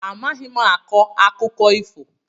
Amaghị m akọ akụkọ ifo.